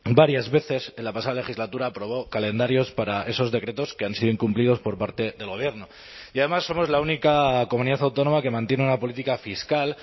varias veces en la pasada legislatura aprobó calendarios para esos decretos que han sido incumplidos por parte del gobierno y además somos la única comunidad autónoma que mantiene una política fiscal